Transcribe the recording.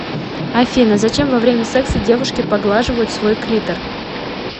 афина зачем во время секса девушки поглаживают свой клитор